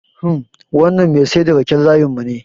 Hmm, wannan Mai saida raken layin mune